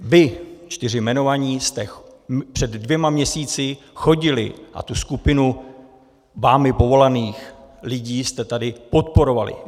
Vy čtyři jmenovaní jste před dvěma měsíci chodili a tu skupinu vámi povolaných lidí jste tady podporovali.